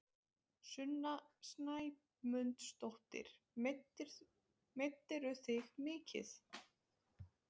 Sunna Sæmundsdóttir: Meiddirðu þig mikið?